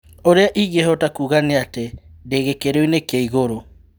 "Uria ingĩhota kuuga nĩ atĩ ndĩ gĩkĩro-inĩ kĩa igũrũ".